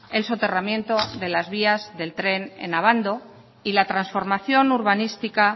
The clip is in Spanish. el soterramiento de las vías del tren en abando y la transformación urbanística